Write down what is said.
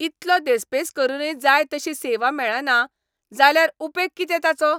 इतलो देस्पेस करूनय जाय तशी सेवा मेळना जाल्यार उपेग कितें ताचो?